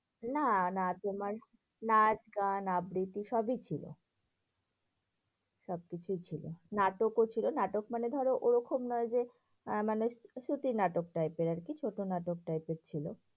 না না তোমার নাচ, গান, আবৃতি সবই ছিল। সবকিছুই ছিল নাটকও ছিল, নাটক মানে ধরো ওরকম নয় যে আহ মানে শ্রুতি নাটক type এর আরকি। শ্রুতি নাটক type এর ছিল।